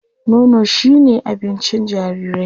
Nono shi me abincin jarirai.